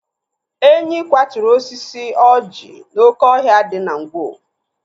Enyi kwaturu osisi ọjị n'oké ọhịa dị Ngwo.